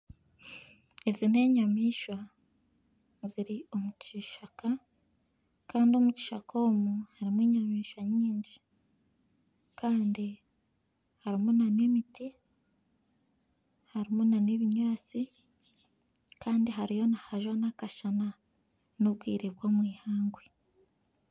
Ezi n'enyamaishwa eziri omu kishaka Kandi omu kishaka omu harimu enyamaishwa nyingi Kandi harimu nana emiti harimu nana ebinyatsi Kandi hariyo nihajwa nana akashana nobwire bw'omwihangwe